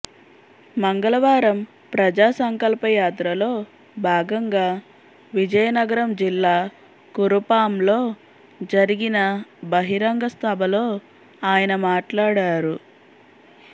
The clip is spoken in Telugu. మంగళవారం ప్రజా సంకల్ప యాత్రలో భాగంగా విజయనగరం జిల్లా కురుపాంలో జరిగిన బహిరంగ సభలో ఆయన మాట్లాడారు